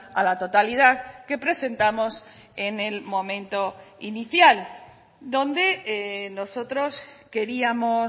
a la totalidad que presentamos en el momento inicial donde nosotros queríamos